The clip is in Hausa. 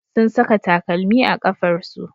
Sun saka takalmi a kafarsu.